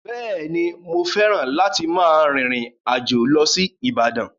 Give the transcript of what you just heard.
Bẹ́ẹ̀ ni, mo fẹ́ràn láti máa rìn ìrìn àjò lọ sí Ibadan.